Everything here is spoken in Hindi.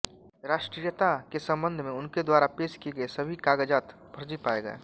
राष्ट्रीयता के सम्बन्ध में उनके द्वारा पेश किए गए सभी कागज़ात फर्जी पाए गए